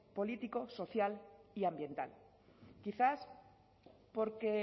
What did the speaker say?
político social y ambiental quizás porque